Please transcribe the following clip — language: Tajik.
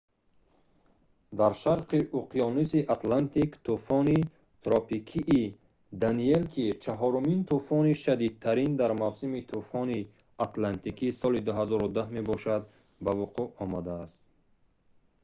дар шарқи уқёнуси атлантик тӯфони тропикии «даниэл» ки чаҳорумин тӯфони шадидтарин дар мавсими тӯфони атлантики соли 2010 мебошад ба вуқӯъ омадааст